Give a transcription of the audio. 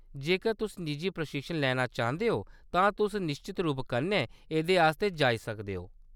जेकर तुस निजी प्रशिक्षण लैना चांह्‌‌‌दे ओ, तां तुस निश्चत रूपै कन्नै एह्‌‌‌दे आस्तै जाई सकदे ओ।